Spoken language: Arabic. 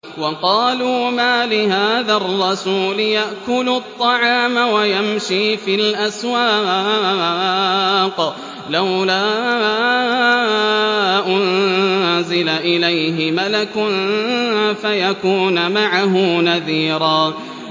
وَقَالُوا مَالِ هَٰذَا الرَّسُولِ يَأْكُلُ الطَّعَامَ وَيَمْشِي فِي الْأَسْوَاقِ ۙ لَوْلَا أُنزِلَ إِلَيْهِ مَلَكٌ فَيَكُونَ مَعَهُ نَذِيرًا